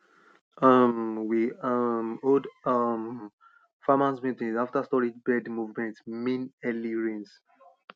um we um hold um farmers meeting after storage bird movement mean early rains